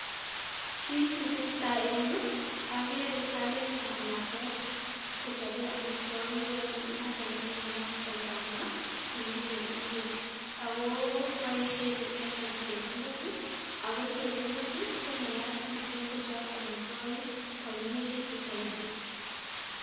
Kiit ne tesetai en yu, agere kamet ap lakwet kochape amitwagik, notok ko neyaat ko maat ne miten sang', ako boisen inendet chebungut, ako chebungut, ko neyat mising kochap amitwagik kwanyinyigitu mising